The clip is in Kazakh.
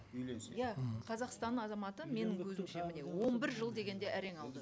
үйленсе иә қазақстан азаматы менің көзімше міне он бір жыл дегенде әрен алды